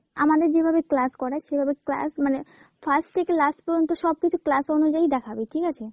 আমাদের যেভাবে class করাই সেভাবে class মানে first থেকে last পর্যন্ত সব কিছু class অনুযায়ী দেখাবে ঠিক আছে।